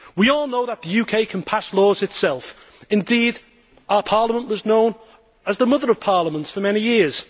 We all know that the UK can pass laws itself, indeed our parliament was known as the mother of parliaments for many years.